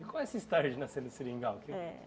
E qual é essa história de nascer no Seringal? É.